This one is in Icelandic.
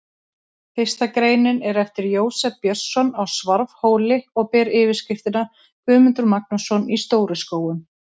Fyrsta greinin er eftir Jósef Björnsson á Svarfhóli og ber yfirskriftina: Guðmundur Magnússon í Stóru-Skógum.